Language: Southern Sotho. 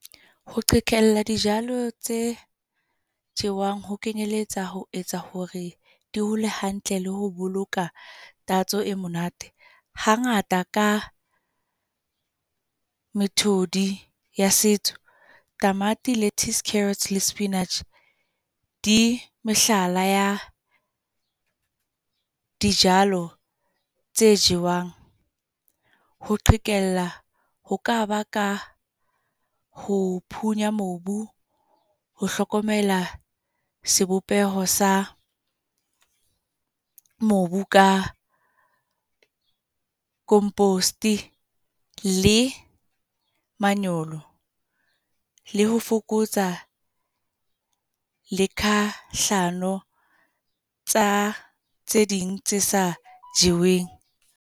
Ho qhekella di tse jewang ho kenyeletsa ho etsa hore, di hole hantle le ho boloka tatso e monate. Ha ngata ka methodi ya setso, tamati, lettuce, carrots le spinach, di mehlala ya dijalo tse jewang. Ho qhekella, ho ka ba ka ho phunya mobu, ho hlokomela sebopeho sa mobu ka compost, le manyolo. Le ho fokotsa le kahlano tsa tse ding tse sa jeweng.